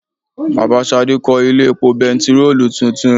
Bàbá Ṣadé kó ilé epo bẹntiróòlù tuntun.